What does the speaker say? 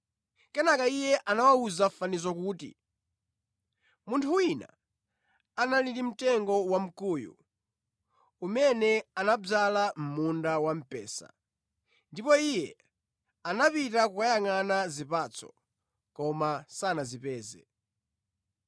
Kenaka Iye anawawuza fanizo kuti, “Munthu wina anali ndi mtengo wamkuyu, umene anadzala mʼmunda wamphesa, ndipo Iye anapita kukayangʼana zipatso, koma sanazipeze.